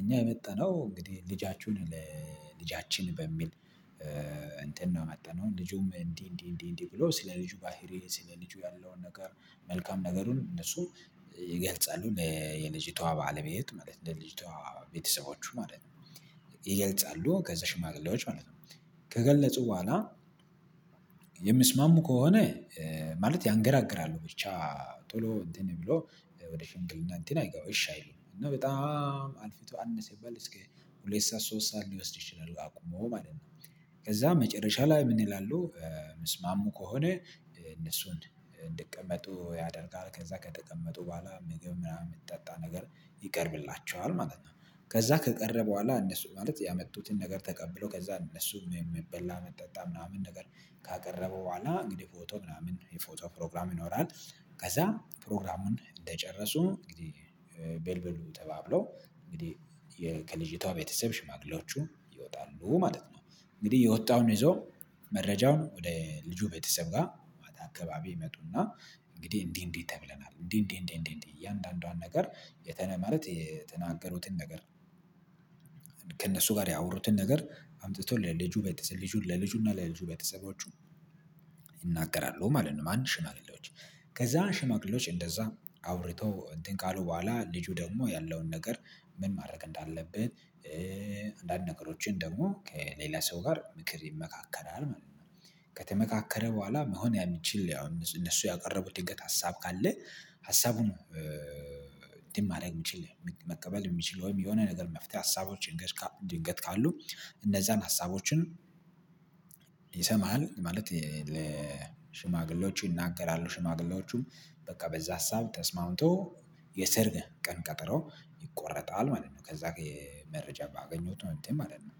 እኛ የመጣነው እንግዲህ ልጃችሁን ለ ልጃችን በሚል እንትን ነው የመጣነው ልጁም እንዲህ እንዲህ እንዲህ እንዲህ ብሎ ስለ ልጁ ባህሪ ስለ ልጁ ያለውን ነገር መልካም ነገሩን እነሱ ይገልጻሉ ለየልጂቷ ባለቤት ማለት ለልጂቷ ቤተሰቦቹ ማለት ነው። ይገልጻሉ ከዛ ሽማግሌዎች ማለት ነው ከገለጹ ቦኋላ የምስማሙ ከሆነ ማለት ያንገራግራሉ ብቻ ቶሎ እንትን ብሎ ወደ ሽምግልና እንትን አይገባውም። እሺ አይሉም እና በጣም አልፊቶ አነሰ ሲባል እስከ ሁለት ሰዓት ሶስት ሰዓት ሊወስድ ይችላል አቁሞ ማለት ነው። ከዛ መጨረሻ ላይ ምን ይላሉ መስማሙ ከሆነ እነሱን እንድቀመጡ ያደርጋል። ከዛ ከተቀመጡ ቦኋላ ምግብ ምናምን የምትጠጣ ነገር ይቀርብላቸዋል ማለት ነው ከዛ ከቀረበ ቦኋላ እነሱ ማለት ያመጡትን ነገር ተቀብሎ ከዛ እነሱ የሚበላ መጠጣ ምናምን ነገር ካቀረበ ቦኋላ እንግዲህ ፎቶ ምናምን የፎቶ ፕሮግራም ይኖራል። ከዛ ፕሮግራሙን እንደጨረሱ እንግዲህ በልበሉ ተባብለው እንግዲህ ከልጅቷ ቤተሰብ ሽማግሌዎቹ ይወጣሉ ማለት ነው። እንግዲህ የወጣውን ይዞ መረጃውን ወደ ልጁ ቤተሰብ ጋር አካባቢ ይመጡና እንግዲህ እንዲህ እንዲህ ተብለናል እንዲህ እንዲህ እንዲህ እንዲህ እያንዳንዷን ነገር የተ ማለት የተናገሩትን ነገር ከእነሱ ጋር ያወሩትን ነገር አምጥቶ ለልጁ ቤተሰቦቹን ለልጁ ለልጁ እና ለልጁ ቤተሰቦቹን ይናገራሉ ማለት ነው። አንድ ሽማግሌዎች ከዛ ሽማግሌዎች እንደዛ አውርተው እንትን ካሉ በኋላ ልጁ ደግሞ ያለውን ነገር ምን ማድረግ እንዳለብን አንዳንድ ነገሮችን ደግሞ ከሌላ ሰው ጋር ምክር ይመካከራል ማለት ነው። ከተመካከረ ቦኋላ መሆን የምችል ያው እነሱ ያቀረበው ድንገት ሀሳብ ካለ ሀሳቡ ነው ድማሬ የምችል መቀበል የሚችል ወይም የሆነ ነገር መፍትሄ ሀሳቦችን ድንገት ካሉ እነዛን ሀሳቦችን ይሰማሃል ማለት ለሽማግሌዎቹ ይናገራሉ። ሽማግሌዎቹም በቃ በዛ ሀሳብ ተስማምቶ የሰርግ ቀን ቀጠሮ ይቆረጣል ማለት ነው። ከዛ መረጃ ባገኘሁት ነው እንትን ማለት ነው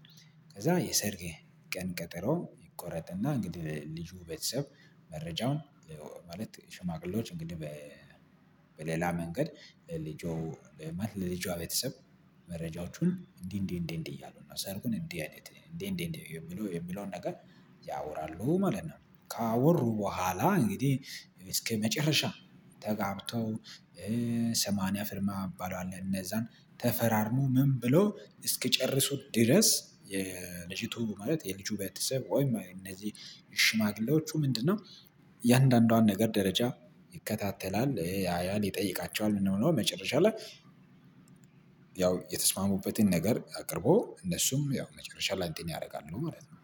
ከዛ የሰርግ ቀን ቀጠሮ ይቆረጥና እንግዲህ ልጁ ቤተሰብ መረጃውን ማለት ሽማግሌዎች እንግዲህ በ በሌላ መንገድ ልጆ ማለት ለልጇ ቤተሰብ መረጃዎቹን እንዲህ እንዲህ እንዲህ እንዲህ እያሉ እና ሰርጉን እንዲህ አይነት እንዲህ እንዲህ የሚለው የሚለውን ነገር ያወራሉ ማለት ነው ካወሩ ቦኋላ እንግዲህ እስከመጨረሻ ተጋብተው ሰማንያ ፍርማ አባላል አለ እነዛን ተፈራርሞ ምን ብሎ እስኪጨርሱ ድረስ የልጅቱ ማለት የልጁ ቤተሰብ ወይ እነዚህ ሽማግሌዎቹ ምንድነው የአንዳንዷን ነገር ደረጃ ይከታተላል ያያል ይጠይቃቸዋል መጨረሻ ላይ ያው የተስማሙበትን ነገር አቅርቦ እነሱም ያው መጨረሻ አንትን ያደርጋሉ ማለት ነው።